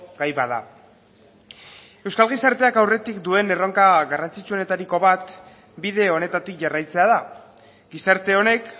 gai bada euskal gizarteak aurretik duen erronka garrantzitsuenetariko bat bide honetatik jarraitzea da gizarte honek